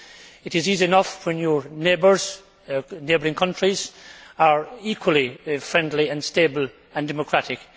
It is easy enough when your neighbouring countries are equally friendly and stable and democratic.